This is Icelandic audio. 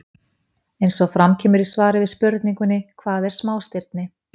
Eins og fram kemur í svari við spurningunni Hvað eru smástirni?